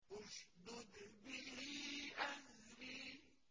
اشْدُدْ بِهِ أَزْرِي